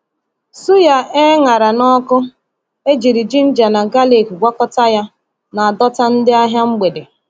Suya e ṅara n’ọkụ, e jiri ginger na galik gwakọta ya, na-adọta ndị ahịa mgbede.